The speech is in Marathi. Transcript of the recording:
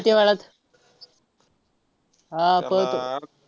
किती वेळात? हा पळतो.